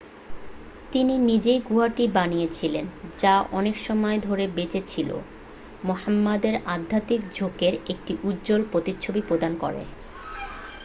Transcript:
তিনি নিজেই গুহাটি বানিয়েছিলেন যা অনেকসময় ধরে বেঁচে ছিল মুহাম্মদের আধ্যাত্মিক ঝোঁকের একটি উজ্জ্বল প্রতিচ্ছবি প্রদান করে